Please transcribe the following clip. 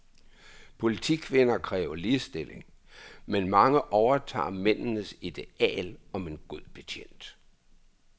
Politikvinder kræver ligestilling, men mange overtager mændenes ideal om en god betjent.